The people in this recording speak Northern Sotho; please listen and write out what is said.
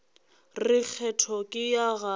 re kgetho ke ya gago